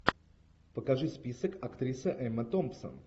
покажи список актриса эмма томпсон